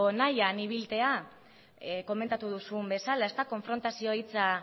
nahian ibiltzea komentatu duzun bezala konfrontazioa hitza